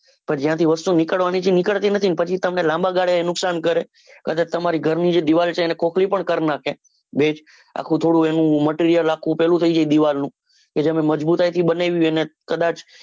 હા જ્યાંથી વસ્તુ નીકળવાની છે એ નીકળતી નથી. પછી તમને લાંબા ગાલે નુકસાન કરે પછી તમારા ઘર ની જે દીવાલ છે. એને ખોખરી પણ કરી નાખે ભેજ આખું થોડું એનું material આખું પેલું થઇ જાય દીવાલ નું જેને મજબૂતાઈથી બનાવી હોય એને